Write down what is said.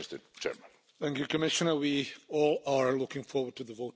Thank you Commissioner. We are all looking forward to the vote tomorrow.